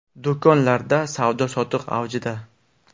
Do‘konlarda savdo-sotiq avjida.